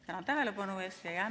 Tänan tähelepanu eest!